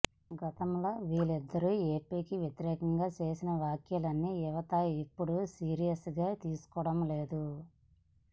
గతంలో వీళ్లిద్దరూ ఏపీకి వ్యతిరేకంగా చేసిన వ్యాఖ్యల్ని యువత ఇప్పుడు సీరియస్ గా తీసుకోవడం లేదు